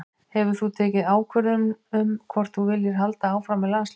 Hefur þú tekið ákvörðun um hvort að þú viljir halda áfram með landsliðið?